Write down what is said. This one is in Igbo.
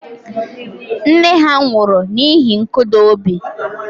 Nne ya nwụrụ n'ihi nkụda obi